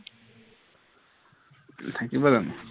থাকিব জানো